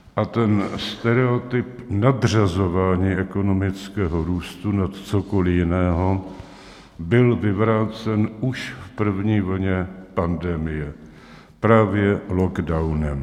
A ten stereotyp nadřazování ekonomického růstu nad cokoli jiného byl vyvrácen už v první vlně pandemie právě lockdownem.